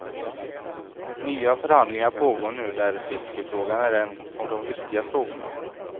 Nya förhandlingar pågår nu där fiskefrågan är en av de viktiga frågorna.